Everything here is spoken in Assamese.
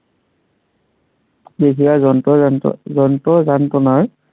যন্ত্ৰৰ যান্ত্ৰণাৰ